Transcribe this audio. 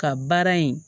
Ka baara in